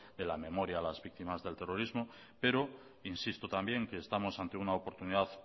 de la memoria a las víctimas de terrorismo pero insisto también que estamos ante una oportunidad